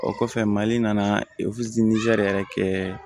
O kɔfɛ mali nana yɛrɛ kɛ